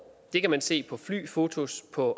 det kan man se på flyfotos på